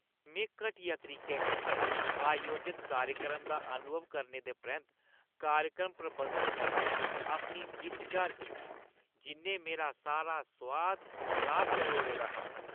में घटिया तरीके कन्नै आयोजत कार्यक्रम दा अनुभव करने दे परैंत्त कार्यक्रम प्रबंधक कन्नै अपनी जिच्च जाह्‌र कीती जि'न्नै मेरा सारा सोआद खराब करी ओड़े दा हा ।